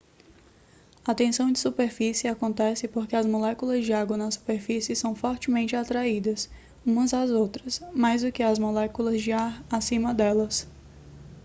a tensão de superfície acontece porque as moléculas de água na superfície são fortemente atraídas umas as outras mais do que às moléculas de ar acima delas